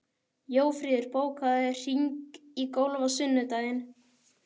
Jófríður, bókaðu hring í golf á sunnudaginn.